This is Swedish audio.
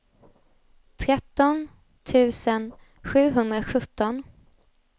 tretton tusen sjuhundrasjutton